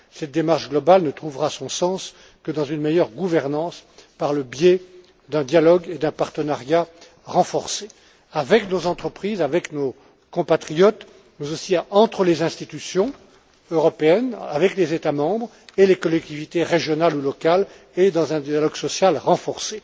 Cette démarche globale ne trouvera son sens que dans une meilleure gouvernance, par le biais d'un dialogue et d'un partenariat renforcés, avec nos entreprises, avec nos compatriotes, mais aussi entre les institutions européennes, avec les États membres et les collectivités régionales ou locales, ainsi que d'un dialogue social renforcé.